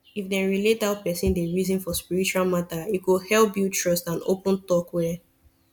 if dem relate how person dey reason for spiritual matter e go help build trust and open talk well